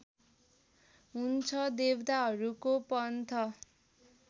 हुन्छ देवताहरूको पन्थ